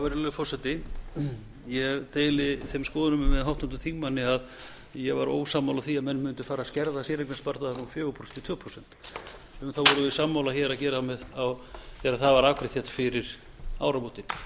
virðulegur forseti ég deili þeim skoðunum með háttvirtum þingmanni að ég var ósammála því að menn mundu fara að skerða séreignarsparnaðinn úr fjórum prósentum í tvö prósent um það vorum við sammála hér þegar það var afgreitt hér fyrir áramótin